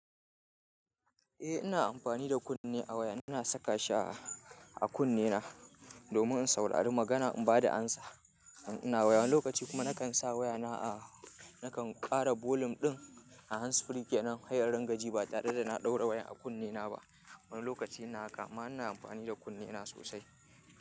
Eh ina amfani da kunne a waya, ina saka shi a kunnena domin in saurari magana in ba da amsa. Ina waya wani lokaci kuma nakan sa wayana a, nakan ƙara bolum ɗin a hansfuriyl kenan he rin gaji ba tare da na ɗaura wayan a kunnena ba. Wani lokaci ina haka amma ina amfani da kunnena sosai.